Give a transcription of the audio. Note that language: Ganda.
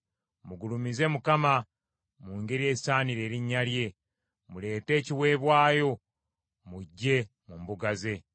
Mugulumize Mukama mu ngeri esaanira erinnya lye; muleete ekiweebwayo mujje mu mbuga ze.